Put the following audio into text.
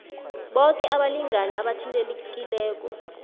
boke abalingani abathintekileko